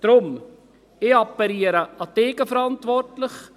Deshalb: Ich appelliere an die Eigenverantwortung.